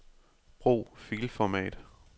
Brug filformat.